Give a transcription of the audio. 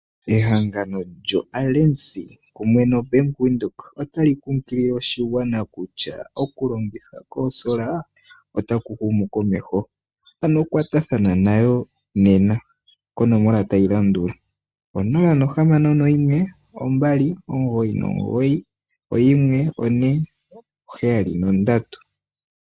Ehangano lyo Alensy kumwe nombanga yaVenduka otayi kunkilile oshigwana kusha okulongitha koosola otaku humu komeho ano kwatathana nayo konomola tayi landula 0612991473.